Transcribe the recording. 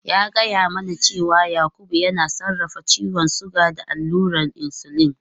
Ya gaya mana cewa Yakubu yana sarrafa ciwon suga da allurar insulin.